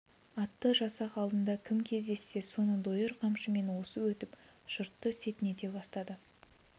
атты жасақ алдында кім кездессе соны дойыр қамшымен осып өтіп жұртты сетінете бастады